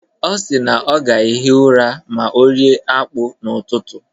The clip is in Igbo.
Ọ si na ọ ga-ehi ụra ma ọ rie akpu n'ụtụtụ.